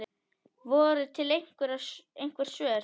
Voru til einhver svör?